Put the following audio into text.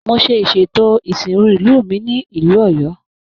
Mo ṣe ìsètò isinru ìlú mí nílu Oyo.